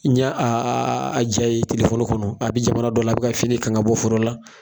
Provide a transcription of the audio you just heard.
N ɲe a ja ye kɔnɔ a bi jamana dɔ la, a bi ka fini kan ka bɔ foro la.